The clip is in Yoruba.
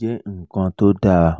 je nkan to dara?